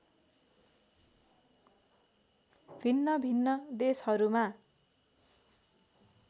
भिन्नभिन्न देशहरूमा